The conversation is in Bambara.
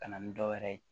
Ka na ni dɔwɛrɛ ye